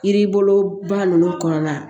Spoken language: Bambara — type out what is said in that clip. Yiri boloba ninnu kɔnɔna na